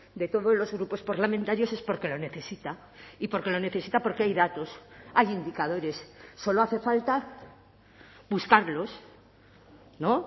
de todos los grupos parlamentarios es porque lo necesita y porque lo necesita porque hay datos hay indicadores solo hace falta buscarlos no